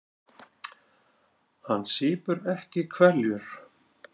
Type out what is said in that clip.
Hann sýpur ekki hveljur.